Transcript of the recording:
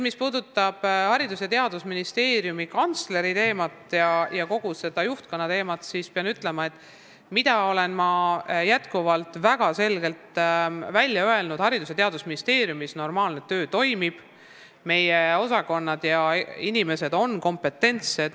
Mis puudutab Haridus- ja Teadusministeeriumi kantsleri ja kogu seda juhtkonna teemat, siis mina olen väga selgelt välja öelnud, et Haridus- ja Teadusministeeriumis toimub normaalne töö, meie osakonnad ja inimesed on kompetentsed.